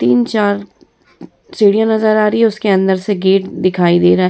तीन-चार सीढ़ियां नजर आ रही है उसके अंदर से गेट दिखाई दे रहा है।